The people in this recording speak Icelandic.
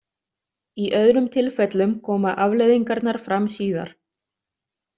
Í öðrum tilfellum koma afleiðingarnar fram síðar.